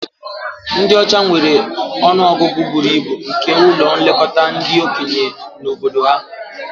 Ndị ọcha nwere ọnụ ọgụgụ buru ibu nke ụlọ nlekọta ndị okenye na obodo ha